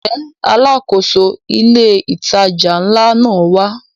Ǹjẹ́ Alákóso ilé ìtajà ńlá náà wá?